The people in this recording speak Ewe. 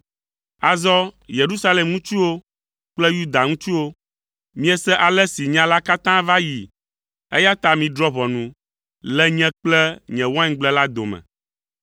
“Azɔ, Yerusalem ŋutsuwo kple Yuda ŋutsuwo, miese ale si nya la katã va yii, eya ta midrɔ̃ ʋɔnu le nye kple nye waingble la dome.